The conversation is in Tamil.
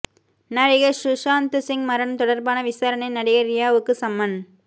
நடிகர் சுஷாந்த் சிங் மரணம் தொடர்பான விசாரணையில் நடிகை ரியாவுக்கு சம்மன்